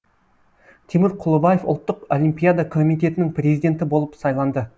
тимур құлыбаев ұлттық олимпиада комитетінің президенті болып сайланды